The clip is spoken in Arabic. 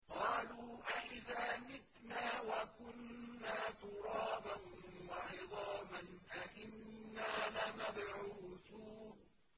قَالُوا أَإِذَا مِتْنَا وَكُنَّا تُرَابًا وَعِظَامًا أَإِنَّا لَمَبْعُوثُونَ